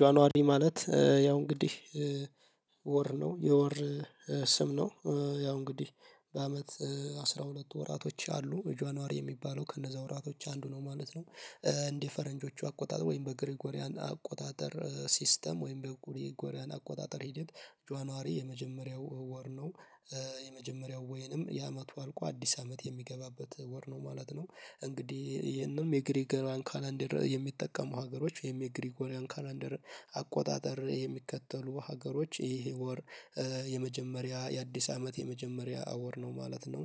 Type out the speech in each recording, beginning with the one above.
ጃንዋሪ ማለት ያው እንግዲህ ወር ነው የወር ስም ነው። ያው እንግዲህ በአመት አስራ ሁለት ወራቶች አሉ ጃኑዋሪ የሚባለው ከነዛ ወራቶች አንዱ ነው ማለት ነው። እንዲህ ፈረንጆቹ አቆጣጠር ወይም በግሪኮሪያን አቆጣጠር ሲስተም ወይም በግሪኮሪያን አቆጣጠር ሂደት ጃንዋሪ የመጀመሪያው ወር ነው። የመጀመሪያው ወይንም የ አመቱ አልቆ አዲስ አመት የሚገባበት ወር ነው ማለት ነው። እንግዲህ ይሄንም የግሪጎሪያን ካላንደር የሚጠቀሙ ሀገሮች የግሪጎሪያን ካላንደር አቆጣጠር የሚከተሉ ሀገሮች ይሄ ወር የመጀመሪያ የአዲስ አመት የመጀመሪያ ወር ነው ማለት ነው።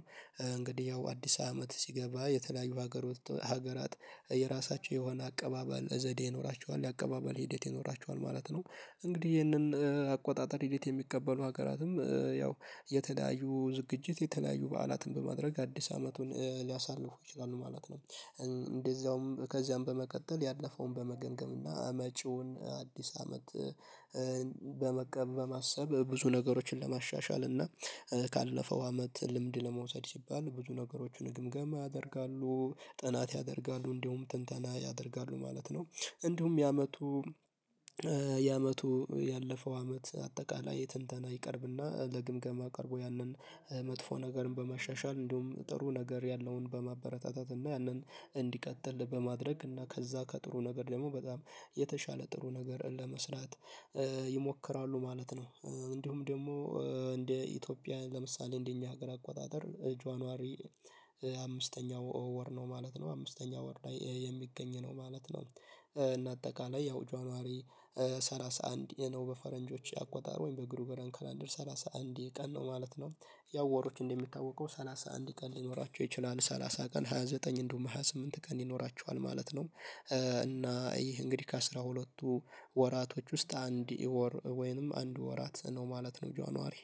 እንግዲህ ያው አዲስ አመት ሲገባ የተለያዩ ሀገር ሀገራት የራሳቸው የሆነ አቀባበል ዘዴ ይኖራቸዋል የአቀባበል ሂደት ይኖራቸዋል ማለት ነው። እንግዲህ ይህንን አቆጣጠር ሂደት የሚቀበሉ ሀገራትም ያው የተለያዩ ዝግጅት የተለያዩ በዓላትን በማድረግ አዲስ አመቱን ሊያሳልፉ ይችላሉ ማለት ነው። እንደዚያውም ከዚያም በመቀጠል ያለፈውን በመገንገም እና መጪውን አዲስ አመት በመቀበል በማሰብ ብዙ ነገሮችን ለማሻሻል እና ካለፈው አመት ልምድ ለመውሰድ ሲባል ብዙ ነገሮችን ግምገማ ያደርጋሉ ጥናት ያደርጋሉ እንዲሁም ትንተና ያደርጋሉ ማለት ነው። እንዲሁም የአመቱ የአመቱ ያለፈው አመት አጠቃላይ ትንተና ይቀርብና ለግምገማ ቀርቦ ያንን መጥፎ ነገርን በማሻሻል እንዲሁም ጥሩ ነገር ያለውን በማበረታታት እና ያንን እንዲቀጥል በማድረግ እና ከዛ ከጥሩ ነገር ደግሞ በጣም የተሻለ ጥሩ ነገር ለመስራት ይሞክራሉ ማለት ነው። እንዲሁም ደግሞ እንደ ኢትዮጵያ ለምሳሌ እንደኛ ሀገር አቆጣጠር ጆን ዋሪ አምስተኛው ወር ነው ማለት ነው አምስተኛው ወር ላይ የሚገኝ ነው ማለት ነው። እና አጠቃላይ ያው ጃንዋሪ ሰላሳ አንድ ነው በፈረንጆቹ አቆጣጠር ወይም በግሪጊሪያን ካላንደር ሰላሳ አንድ ቀን ነው ማለት ነው። ያው ወሮች እንደሚታወቀው ሰላሳ አንድ ቀን ሊኖራቸው ይችላል ሰላሳ ቀን ሃያ ዘጠኝ እንደውም ሃያ ስምንት ቀን ይኖራቸዋል ማለት ነው። እና ይህ እንግዲህ ከአሥራ ሁለትቱ ወራቶች ውስጥ አንድ ወር ወይንም አንድ ወራት ነው ማለት ነው ጃንዋሪ